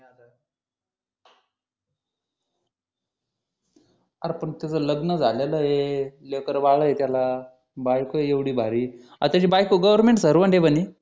अरे पण त्याचं लग्न झालेला आहे लेकरं बाळ आहे त्याला बायको आहे एवढे भारी अरे त्याची बायको गव्हर्मेंट सर्व्हंट आहे म्हणे